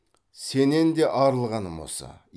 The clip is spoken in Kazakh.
сенен де арылғаным осы